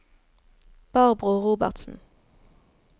Barbro Robertsen